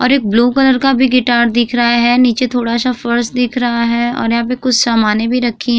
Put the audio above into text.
और एक blue colour का भी गिटार दिख रहा है। नीचे थोड़ा सा फर्श दिख रहा है और यहाँ पे कुछ सामाने भी रखीं --